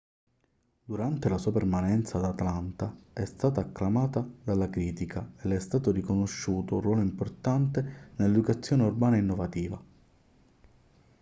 durante la sua permanenza ad atlanta è stata acclamata dalla critica e le è stato riconosciuto un ruolo importante nell'educazione urbana innovativa